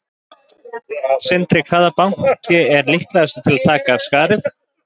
Sindri: Hvaða banki er líklegastur til að taka af skarið?